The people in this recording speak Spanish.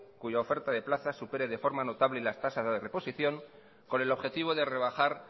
cuya oferta de plazas supere de forma notable las tasas de reposición con el objetivo de rebajar